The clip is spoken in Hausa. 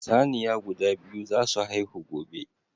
Saniya guda biyu za su haihu gobe.